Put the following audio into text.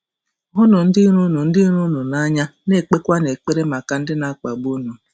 “Hụnụ ndị iro unu ndị iro unu n’anya,... na-ekpekwanụ ekpere maka ndị na-akpagbu unu.”